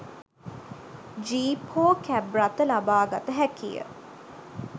Jeep හෝ cab රථ ලබාගත හැකිය.